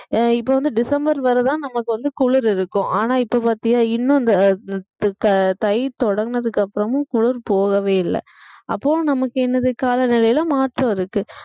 இப்ப வந்து டிசம்பர் வரை தான் நமக்கு வந்து குளிர் இருக்கும் ஆனா இப்ப பாத்தீங்கன்னா இன்னும் இந்த த~ தை தொடங்குனதுக்கு அப்புறமும் குளிர் போகவே இல்ல அப்போ நமக்கு என்னது கால நிலையில மாற்றம் இருக்கு